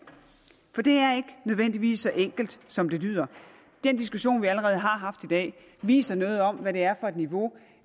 nødvendigvis så enkelt som det lyder den diskussion vi allerede har haft i dag viser noget om hvad det er for et niveau